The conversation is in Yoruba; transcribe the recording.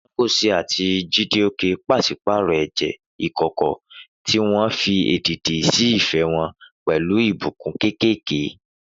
Ngozi àti Chijioke pàṣípààrọ̀ ẹ̀jẹ́ ìkọ̀kọ̀, tí wọ́n fi èdìdì sí ìfẹ́ wọn pẹ̀lú ìbùkún kéékèèké.